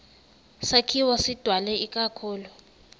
sakhiwo sidalwe ikakhulu